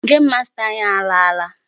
Game master anyị alaala.